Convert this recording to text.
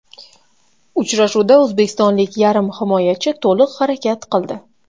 Uchrashuvda o‘zbekistonlik yarim himoyachi to‘liq harakat qildi.